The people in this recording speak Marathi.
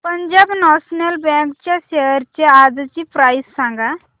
पंजाब नॅशनल बँक च्या शेअर्स आजची प्राइस सांगा